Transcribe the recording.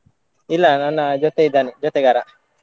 ಇಲ್ಲಾ ನನ್ನ ಜೊತೆ ಇದ್ದಾನೆ ಜೊತೆಗಾರಾ.